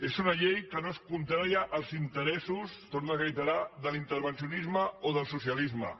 és una llei que no és contrària als interessos ho torno a reiterar de l’intervencionisme o del socialisme